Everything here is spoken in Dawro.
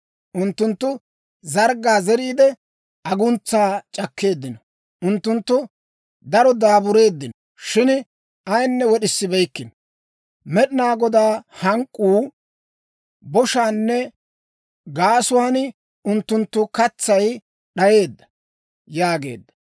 Unttunttu zarggaa zeriide, aguntsaa c'akkeeddino. Unttunttu daro daabureeddino; shin ayinne wod'issibeykkino. Med'inaa Godaa hank'k'uwaa boshaanne gaasuwaan unttunttu katsay d'ayeedda» yaageedda.